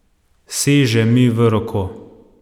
Seže mi v roko.